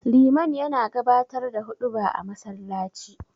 Liman yana gabatar da huɗuba a masallaci.